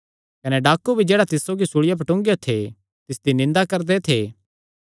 कने डाकू भी जेह्ड़ा तिस सौगी सूल़िया पर टूंगेयो थे तिसदी निंदा करदे थे